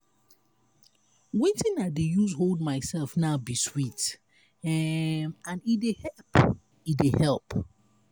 wetin i dey use hold myself now be sweet um and e dey help. e dey help.